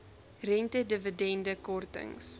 rente dividende kortings